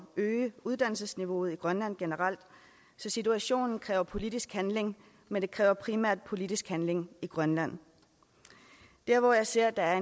øge uddannelsesniveauet i grønland generelt så situationen kræver politisk handling men den kræver primært politisk handling i grønland der hvor jeg ser der er